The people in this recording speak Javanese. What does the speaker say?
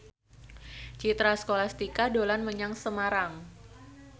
Citra Scholastika dolan menyang Semarang